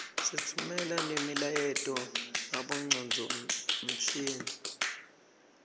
sitfumela nemiyaleto ngabongcondvomshini